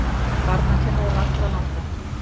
Barnakennarar allra landa!